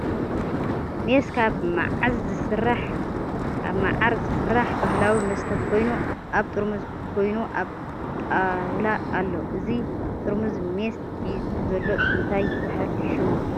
ሜስ ካብ ማዓዝ ዝስራሕ ባህላዊ መስተ ኮይኑ ኣብ ጥርሙዝ ኮይኑ ኣብ ጣውላ ኣሎ። እዚ ጥርሙዝ ሜስ ሒዙ ዘሎ እንታይ ይበሃል ሽሙ ?